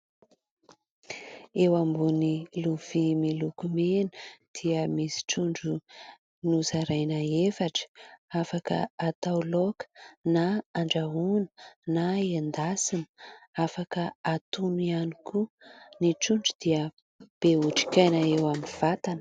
Eo ambony lovia miloko mena dia misy trondro nozaraina efatra, afaka atao laoka na andrahoina na endasina. Afaka atono ihany koa. Ny trondro dia be otrikaina eo amin'ny vatana.